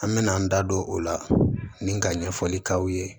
An mɛna an da don o la ni ka ɲɛfɔli k'aw ye